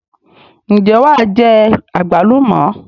Ǹjẹ́ wàá jẹ àgbálùmọ̀?